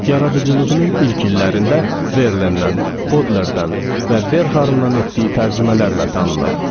Yaradıcılığının ilk illərində Verlennən, Bodlerdən və Verharndan etdiyi tərcümələrlə tanınıb.